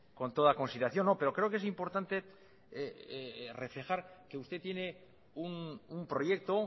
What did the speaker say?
con toda consideración pero creo que es importante reflejar que usted tiene un proyecto